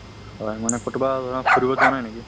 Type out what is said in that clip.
হয় মানে কতোবা ফুৰিব যোৱা নাই নেকি?